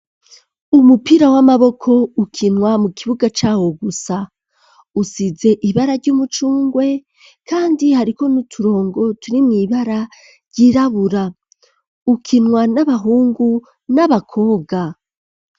Umupira w'amaboko ukinwa mu kibuga cawo gusa usize ibara ry'umucungwe, kandi hariko ni'uturongo turi mw'ibara ryirabura ukinwa n'abahungu n'abakobwa.